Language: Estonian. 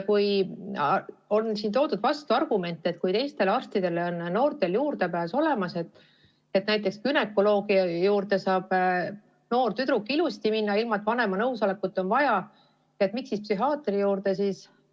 Siin on toodud vastuargumendina esile, et kui teistele arstidele on noortel juurdepääs olemas, näiteks günekoloogi juurde saab noor tüdruk ilusasti minna ilma vanema nõusolekuta, siis miks ta psühhiaatri juurde ei saa.